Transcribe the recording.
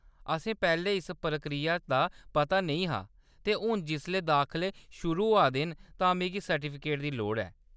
असें पैह्‌‌‌लें इस प्रक्रिया दा पता नेईं हा ते हून जिसलै दाखले शुरू होआ दे न तां मिगी सर्टिफिकेट दी लोड़ ऐ।